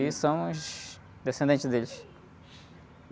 E somos descendentes deles.